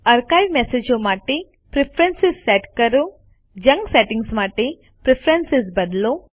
archive મેસેજો માટે preference set કરો જંક સેટિંગ્સ માટે પ્રેફરન્સ બદલો